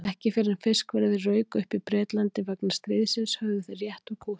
Ekki fyrr en fiskverðið rauk upp í Bretlandi vegna stríðsins höfðu þeir rétt úr kútnum.